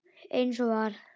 Eins og var.